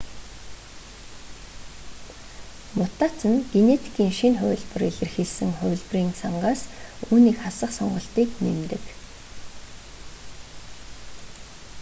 мутаци нь генетикийн шинэ хувилбар илэрхийлсэн хувилбарын сангаас үүнийг хасах сонголтыг нэмдэг